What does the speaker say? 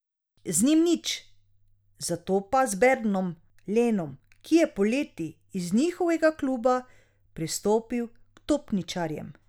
Z njim nič, zato pa z Berndom Lenom, ki je poleti iz njihovega kluba prestopil k topničarjem.